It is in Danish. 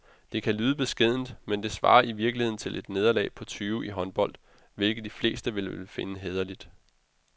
Det kan lyde beskedent, men det svarer i virkeligheden til et nederlag på tyve i håndbold, hvilket de fleste vel vil finde hæderligt.